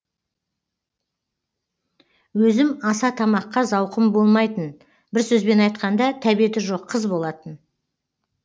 өзім аса тамаққа зауқым болмайтын бір сөзбен айтқанда тәбеті жоқ қыз болатын